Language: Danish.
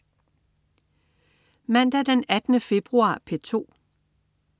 Mandag den 18. februar - P2: